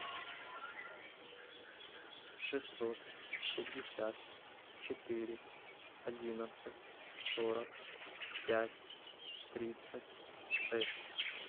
шестьсот пятьдесят четыре одиннадцать сорок пять тридцать шесть